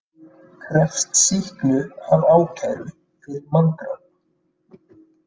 Krefst sýknu af ákæru fyrir manndráp